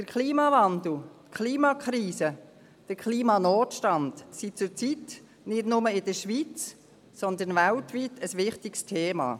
Der Klimawandel, die Klimakrise, der Klimanotstand sind zurzeit nicht nur in der Schweiz, sondern weltweit ein wichtiges Thema.